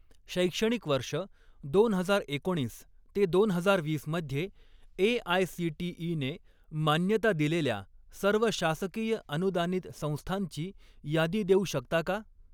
शैक्षणिक वर्ष दोन हजार एकोणीस ते दोन हजार वीस मध्ये ए.आय.सी.टी.ई. ने मान्यता दिलेल्या सर्व शासकीय अनुदानित संस्थांची यादी देऊ शकता का?